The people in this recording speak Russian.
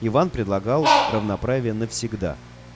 иван предлагал равноправие навсегда